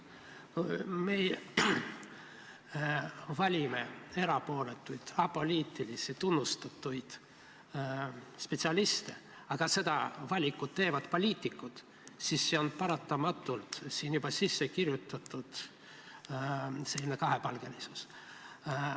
Kui me valime erapooletuid apoliitilisi tunnustatud spetsialiste, aga seda valikut teevad poliitikud, siis on sellesse paratamatult juba sisse kirjutatud selline kahepalgelisus.